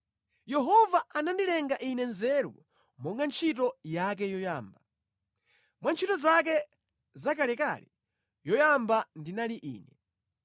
“Yehova anandilenga ine nzeru monga ntchito yake yoyamba. Mwa ntchito zake zakalekale yoyamba ndinali ine.